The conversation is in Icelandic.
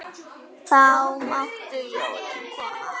Þá máttu jólin koma.